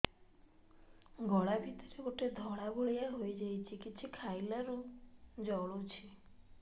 ଗଳା ଭିତରେ ଗୋଟେ ଧଳା ଭଳିଆ ହେଇ ଯାଇଛି କିଛି ଖାଇଲାରୁ ଜଳୁଛି